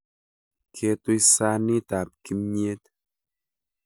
Keetuy saaniit ab kimyeet?